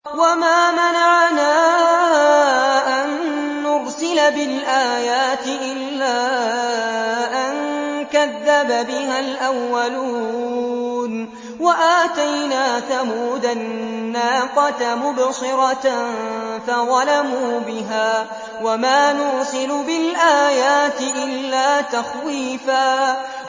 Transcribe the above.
وَمَا مَنَعَنَا أَن نُّرْسِلَ بِالْآيَاتِ إِلَّا أَن كَذَّبَ بِهَا الْأَوَّلُونَ ۚ وَآتَيْنَا ثَمُودَ النَّاقَةَ مُبْصِرَةً فَظَلَمُوا بِهَا ۚ وَمَا نُرْسِلُ بِالْآيَاتِ إِلَّا تَخْوِيفًا